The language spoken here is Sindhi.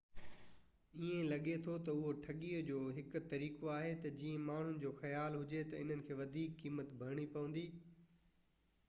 ائين لڳي ٿو تہ اهو ٺڳي جو هڪ طريقو آهي تہ جيئن ماڻهن جو خيال هجي تي انهن کي وڌيڪ قيمت ڀرڻي پوندي